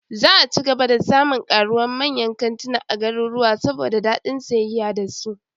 Za'a ci gaba da samun karuwa manyan kantuna a garuruwa, saboda dadin sayayya da su